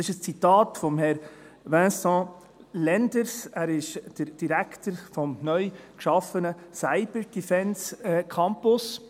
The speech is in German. » Dies ist ein Zitat von Herrn Dr. Vincent Lenders, Direktor des neu geschaffenen Cyber-Defence-Campus.